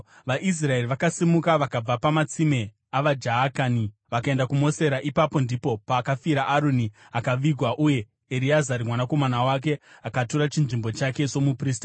(VaIsraeri vakasimuka vakabva pamatsime avaJaakani vakaenda kuMosera. Ipapo ndipo pakafira Aroni akavigwa, uye Ereazari mwanakomana wake akatora chinzvimbo chake somuprista.